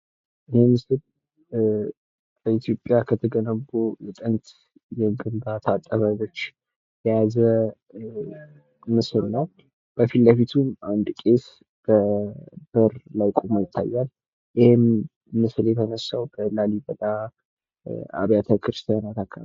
የጉዞ እቅድ አስቀድሞ ሊዘጋጅ ይችላል። ቱሪዝም የመስተንግዶ ኢንዱስትሪን ያካትታል። የስደት ውሳኔ ብዙውን ጊዜ ድንገተኛና አስቸጋሪ ነው።